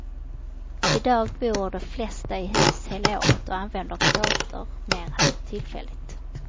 Idag bor de flesta i hus hela året och använder kåtor mera tillfälligt.